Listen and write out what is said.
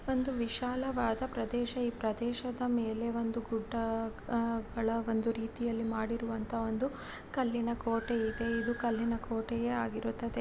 ಒಂದು ವಿಶಾಲವಾದ ಪ್ರದೇಶ ಈ ಪ್ರದೇಶದ ಮೇಲೆ ಒಂದು ಗುಡ್ಡ ಆ ಗಳ ಒಂದು ರೀತಿಯಲ್ಲಿ ಮಾಡಿರುವಂತಹ ಒಂದು ಕಲ್ಲಿನ ಕೋಟೆ ಇದೆ. ಇದು ಕಲ್ಲಿನ ಕೋಟೆಯೇ ಆಗಿರುತ್ತದೆ.